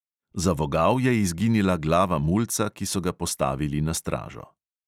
Za vogal je izginila glava mulca, ki so ga postavili na stražo.